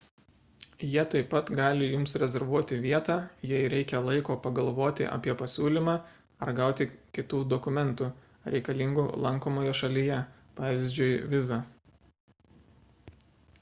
jie taip pat gali jums rezervuoti vietą jei reikia laiko pagalvoti apie pasiūlymą ar gauti kitų dokumentų reikalingų lankomoje šalyje pvz. vizą